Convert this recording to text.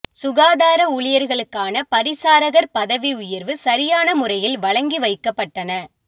சுகாதார ஊழியர்களுக்கான பரிசாரகர் பதவி உயர்வு சரியான முறையில் வழங்கி வைக்கப்பட்டன